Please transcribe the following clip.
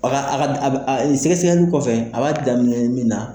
A a a b a Sɛgɛsɛgɛli kɔfɛ a b'a daminɛ min na.